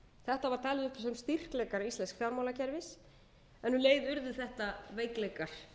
þetta var talið upp sem styrkleikar íslensks fjármálakerfis en um leið urðu þetta veikleikar